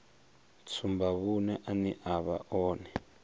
tsumbavhuṅe ane a vha one